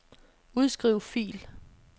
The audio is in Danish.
Udskriv fil.